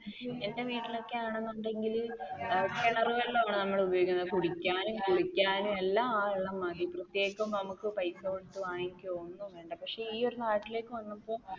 എന്റെ വീട്ടിൽ ഒക്കെ ആണെന്നുണ്ടെങ്കിൽ കിണർ വെള്ളമാണ് നമ്മൾ ഉപയോഗിക്കുന്നത് കുടിക്കാൻ, കുളിക്കാൻ എല്ലാം ആ വെള്ളമാണ് പ്രത്യേകിച്ച് നമ്മക്ക് പൈസ കൊടുത്തു വാങ്ങിക്കുകയോ ഒന്നും വേണ്ട. പക്ഷെ ഈ നാട്ടിലേക്ക് വന്നപ്പോൾ